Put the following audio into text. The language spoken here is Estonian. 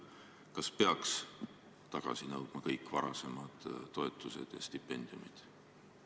Kas peaks tagasi nõudma kõik varasemad toetused ja stipendiumid?